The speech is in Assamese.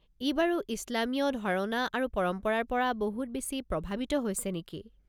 ই বাৰু ইছলামীয় ধাৰণা আৰু পৰম্পৰাৰ পৰা বহুত বেছি প্ৰভাৱিত হৈছে নেকি?